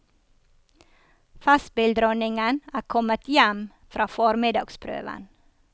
Festspilldronningen er kommet hjem fra formiddagsprøven.